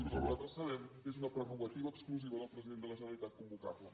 fins on nosaltres sabem és una prerrogativa exclusiva del president de la generalitat convocar les